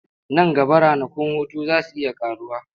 Nan gaba ranakun hutu za su iya ƙaruwa.